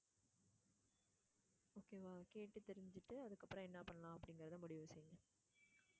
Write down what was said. okay வா கேட்டு தெரிஞ்சுகிட்டு அதுக்கப்பறம் என்ன பண்ணலாம் அப்படிங்கிறத முடிவு செய்யுங்க.